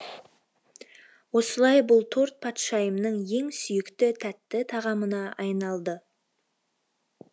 осылай бұл торт патшайымның ең сүйікті тәтті тағамына айналды